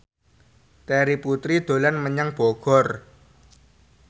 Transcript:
Terry Putri dolan menyang Bogor